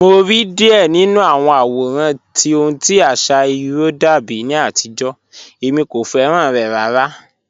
Mo rí díẹ̀ nínu àwọn àwòràn tí ọ̀hun tí àṣà irò dàbí ní àtìjó, èmi kò fẹ́ràn rẹ̀ ràrà